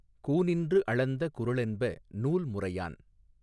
கூநின்று அளந்த குறளென்ப நூல்முறையான்